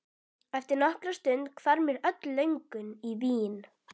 Eftir nokkra stund hvarf mér öll löngun í vín.